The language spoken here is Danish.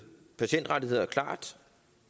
patientrettigheder klart